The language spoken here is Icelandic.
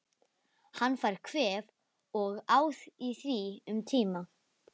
Hann fær kvef og á í því um tíma.